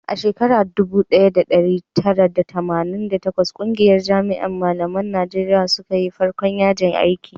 a shekara dubu daya da dari tara da tamanin da takwas ƙungiyar jami'an malaman najeriya suka yi farkon yajin aiki